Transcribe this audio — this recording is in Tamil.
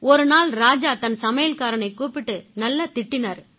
ஒரு நாள் ராஜா தன் சமையல்காரனைக் கூப்பிட்டு நல்லா திட்டினாரு